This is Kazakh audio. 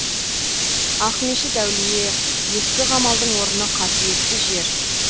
ақмешіт әулие ескі қамалдың орны қасиетті жер